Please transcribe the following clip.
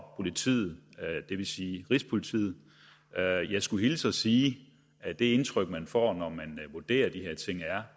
politiet det vil sige rigspolitiet jeg skulle hilse at sige at det indtryk man får når man vurderer de her ting er